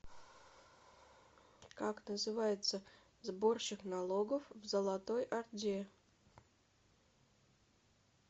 как называется сборщик налогов в золотой орде